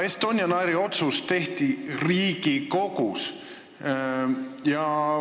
Estonian Airi otsus tehti Riigikogus.